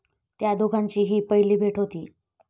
त्या दोघांची ही पहिली भेट होती.